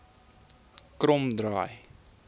kromdraai